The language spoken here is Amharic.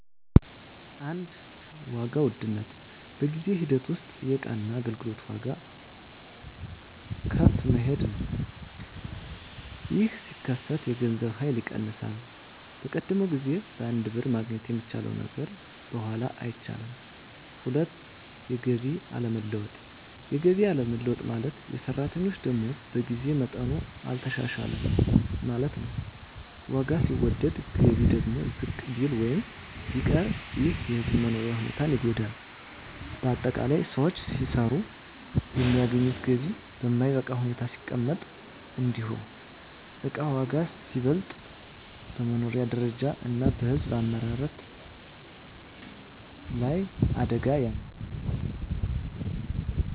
1. ዋጋ ውድነት በጊዜ ሂደት ውስጥ የእቃና አገልግሎት አጠቃላይ ዋጋ ከፍ መሄዱ ነው። ይህ ሲከሰት የገንዘብ ኃይል ይቀንሳል፤ በቀደመው ጊዜ በአንድ ብር ማግኘት የሚቻለው ነገር በኋላ አይቻልም። 2. የገቢ አለመለወጥ የገቢ አለመለወጥ ማለት፣ የሰራተኞች ደመወዝ በጊዜ መጠኑ አልተሻሻለም ማለት ነው። ዋጋ ሲወደድ ገቢ ደግሞ ዝቅ ቢል ወይም ቢቀር ይህ የሕዝብ መኖሪያ ሁኔታን ይጎዳል። ✅ በአጠቃላይ: ሰዎች ሲሰሩ የሚያገኙት ገቢ በማይበቃ ሁኔታ ሲቀመጥ፣ እንዲሁም እቃ ዋጋ ሲበልጥ፣ በመኖሪያ ደረጃ እና በሕዝብ አመራረት ላይ አደጋ ያመጣል።